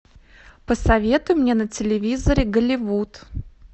посоветуй мне на телевизоре голливуд